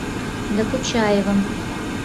докучаевым